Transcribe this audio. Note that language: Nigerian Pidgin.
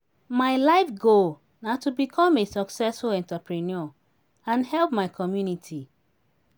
my life goal na to become a successful entrepreneur and help my community.